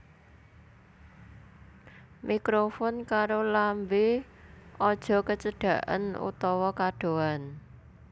Mikrofon karo lambé aja kecedaken utawa kadohan